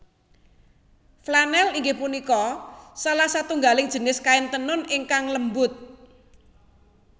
Flanèl inggih punika salah satunggaling jinis kain tenun ingkang lembut